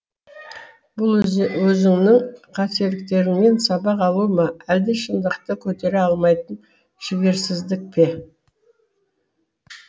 бұл өзіңнің қателіктеріңнен сабақ алу ма әлде шындықты көтере алмайтын жігерсіздік пе